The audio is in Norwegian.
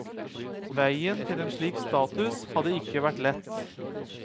Veien til en slik status hadde ikke vært lett.